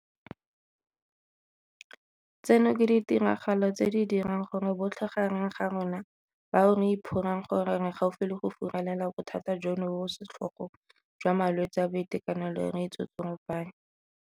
Tseno ke ditiragalo tse di dirang gore botlhe gareng ga rona bao re iphorang gore re gaufi le go furalela bothata jono jo bo setlhogo jwa malwetse a boitekanelo re itsotsoropanye.